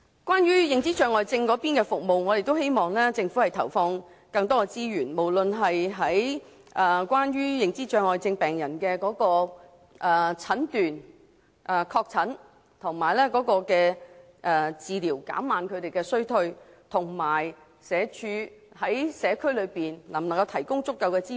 關於認知障礙症的服務，我們希望政府投放更多資源，提升認知障礙症病人的診斷、確診及治療服務，以助他們延緩衰退；我們亦期望社會福利署能在社區提供足夠的支援。